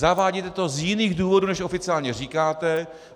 Zavádíte to z jiných důvodů, než oficiálně říkáte.